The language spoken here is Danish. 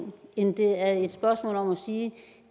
end det er et spørgsmål om at sige at